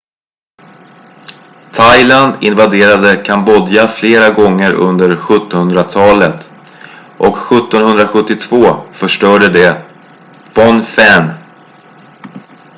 thailand invaderade kambodja flera gånger under 17-hundratalet och 1772 förstörde de phnom phen